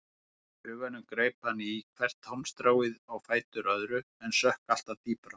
Í huganum greip hann í hvert hálmstráið á fætur öðru en sökk alltaf dýpra.